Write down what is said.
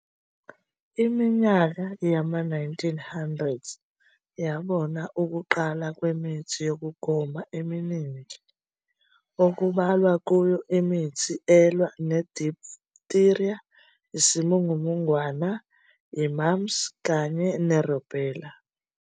Iminyaka yama-1900 yabona ukuqala kwemithi yokugoma eminingi, okubalwa kuyo imithi elwa ne-diphtheria, isimungumungwana, i-mumps, kanye ne-rubella.